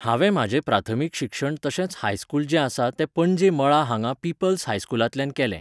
हांवें म्हाजें प्राथमीक शिक्षण तशेंच हायस्कूल जें आसा तें पणजे मळा हांगा पिपल्स हायस्कूलांतल्यान केलें